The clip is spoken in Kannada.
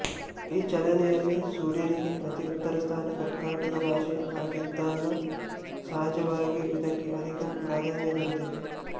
ಈ ಚಲನೆಯಲ್ಲಿ ಸೂರ್ಯನಿಗೆ ಅತಿ ಉತ್ತರಸ್ಥಾನ ಕರ್ಕಾಟಕ ರಾಶಿ ಆಗಿದ್ದಾಗ ಸಹಜವಾಗಿಯೇ ಇದಕ್ಕೆ ಅಧಿಕ ಪ್ರಾಧಾನ್ಯ ದೊರೆತಿತ್ತು